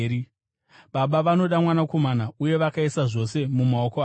Baba vanoda Mwanakomana uye vakaisa zvose mumaoko ake.